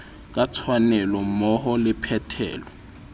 ka tshwanelo mmoho le phethelo